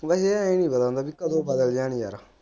ਵੈਸੇ ਯਾਰ ਇਹ ਨਹੀਂ ਪਤਾ ਹੁੰਦਾ ਕੇ ਕਦੋ ਬਦਲ ਜਾਣ ਯਾਰ।